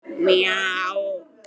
Svissnesku feðgarnir heilir á húfi